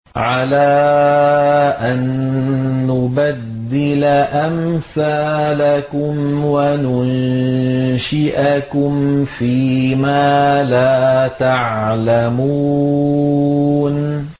عَلَىٰ أَن نُّبَدِّلَ أَمْثَالَكُمْ وَنُنشِئَكُمْ فِي مَا لَا تَعْلَمُونَ